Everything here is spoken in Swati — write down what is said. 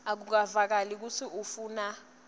akuvakali kutsi ufuna